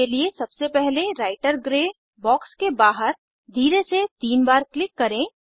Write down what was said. इसके लिए सबसे पहले writer gray writer gray box के बाहर धीरे से तीन बार क्लिक करें